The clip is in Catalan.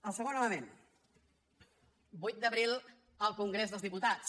el segon element vuit d’abril al congrés dels diputats